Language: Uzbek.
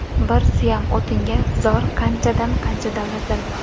Bir suyam o‘tinga zor qanchadan qancha davlatlar bor.